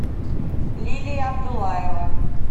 лилия абдулаева